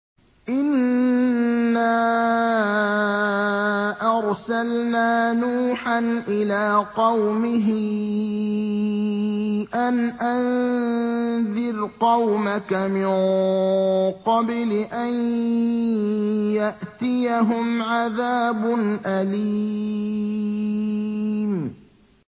إِنَّا أَرْسَلْنَا نُوحًا إِلَىٰ قَوْمِهِ أَنْ أَنذِرْ قَوْمَكَ مِن قَبْلِ أَن يَأْتِيَهُمْ عَذَابٌ أَلِيمٌ